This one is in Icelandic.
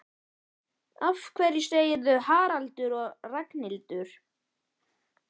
Af hverju segirðu Haraldur og Ragnhildur?